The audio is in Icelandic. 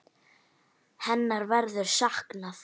Hennar verður saknað.